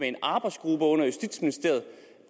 en arbejdsgruppe under justitsministeriet